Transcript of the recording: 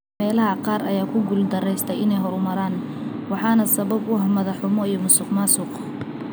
Meelaha qaar ayaa ku guul darraystay inay horumaraan, waxaana sabab u ah madax-xumo iyo musuqmaasuq.